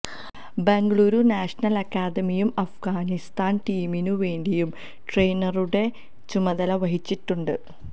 Bengaluru national അക്കാദമിയും അഫ്ഗാനിസ്ഥാന് ടീമിനു വേണ്ടിയും ട്രെയിനറുടെ ചുമതല വഹിച്ചിട്ടുണ്ട്